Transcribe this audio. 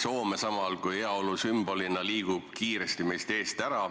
Soome samal ajal heaolu sümbolina liigub kiiresti meil eest ära.